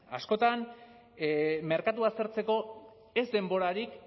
askotan merkatua aztertzeko ez denborarik